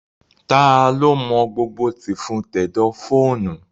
Taa ló mọ gbogbo tìfun tẹ̀dọ̀ fóònù?